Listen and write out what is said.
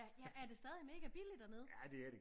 Ja er det stadig mega billigt dernede